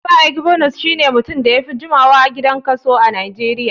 Pa egbunuce shine mutumin da yafi jimawa a gidan kaso a nijeria.